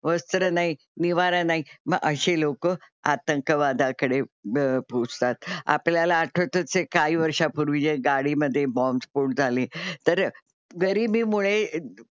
वस्त्र नाही, निवारा नाही मग असे लोकं आतंकवादाकडे पोहोचतात. आपल्याला आठवत असेल काही वर्षापूर्वी जे गाडी मध्ये बॉम्ब स्फोट झाले तर गरीबी मुळे,